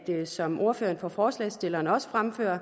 det som ordføreren for forslagsstillerne også fremførte